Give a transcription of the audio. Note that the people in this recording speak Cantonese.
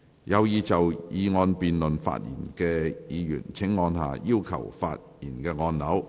有意就議案辯論發言的議員請按下"要求發言"按鈕。